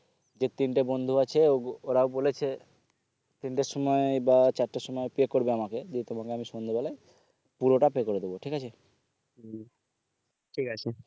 যে তিনটে বন্ধু আছে ওরাই বলেছে তিন টার সময়ে বা চারটার সময়ে pay করবে আমাকে দেখি তোমাকে আমি সন্ধ্যে বেলায় পুরোটা pay করে দিবো ঠিক আছে উম ঠিক আছে